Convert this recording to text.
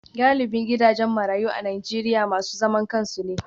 Galibin gidajen marayu a Najeriya masu zaman kansu ne.